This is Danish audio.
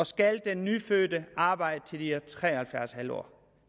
skal den nyfødte arbejde til hun er tre og halvfjerds en halv år